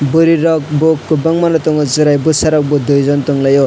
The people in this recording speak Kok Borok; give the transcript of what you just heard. boroi rok bo kobangma no tongo cherai bosa rok bo dui jon tonglai o.